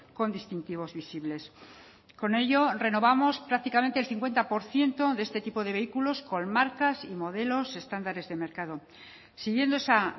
con distintivos visibles con ello renovamos prácticamente el cincuenta por ciento de este tipo de vehículos con marcas y modelos estándares de mercado siguiendo esa